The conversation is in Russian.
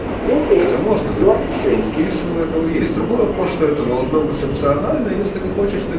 это можно запилить и эскиз у этого есть другой вопрос что это должно быть опционально если ты хочешь ты